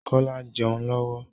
Kola ń jẹun lọ́wọ́